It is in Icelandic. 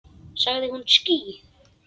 Sagði hún ský?